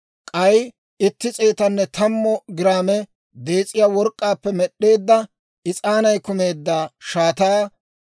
k'ay itti s'eetanne tammu giraame dees'iyaa work'k'aappe med'd'eedda, is'aanay kumeedda shaataa;